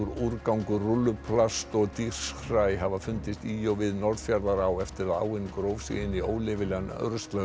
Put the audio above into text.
úrgangur rúlluplast og hafa fundist í og við Norðfjarðará eftir að áin gróf sig inn í óleyfilegan ruslahaug